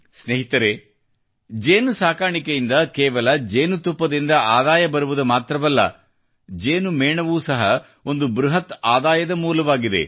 ಸ್ನೇಹಿತರೇ ಜೇನುನೊಣ ಸಾಕಾಣಿಕೆಯಿಂದ ಕೇವಲ ಜೇನುತುಪ್ಪದಿಂದ ಆದಾಯ ಬರುವುದು ಮಾತ್ರವಲ್ಲದೇ ಜೇನು ಮೇಣವೂ ಸಹ ಒಂದು ಬೃಹತ್ ಆಂದಾಯದ ಮೂಲವಾಗಿದೆ